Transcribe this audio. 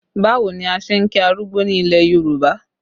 Báwo ni a ṣe ń kí arúgbó ní ilẹ̀ Yorùbá?